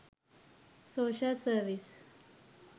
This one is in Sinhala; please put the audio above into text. social service